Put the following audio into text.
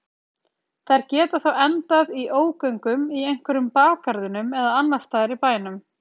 Þær geta þá endað í ógöngum í einhverjum bakgarðinum eða annars staðar í bænum.